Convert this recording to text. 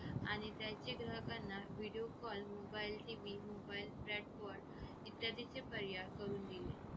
आणि त्यांचे ग्राहकांना video call mobile TV mobile catchword इत्यादीचे पर्याय करून दिले